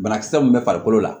Banakisɛ mun bɛ farikolo la